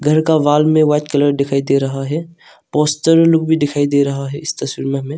घर का वॉल में वाइट कलर दिखाई दे रहा है पोस्टर लुक दिखाई दे रहे है इस तस्वीर में हमे।